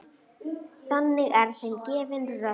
Þannig er þeim gefin rödd.